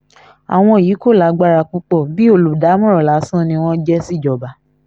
àwọn yìí kò lágbára púpọ̀ bíi olùdámọ̀ràn lásán ni wọ́n jẹ́ síjọba